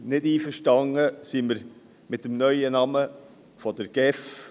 Definitiv nicht einverstanden sind wir mit dem neuen Namen der GEF.